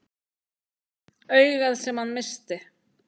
Augað sem hann missti.